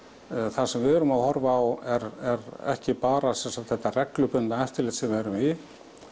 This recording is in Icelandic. það sem við erum að horfa á er ekki bara þetta reglubundna eftirlit sem við erum í